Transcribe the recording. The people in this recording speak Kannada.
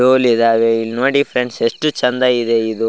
ಟೋಲ್ ಇದಾವೆ ಇಲ್ನೋಡಿ ಫ್ರೆಂಡ್ಸ್ ಎಷ್ಟು ಚೆಂದ ಇದೆ ಇದು --